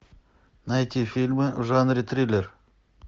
найти фильмы в жанре триллер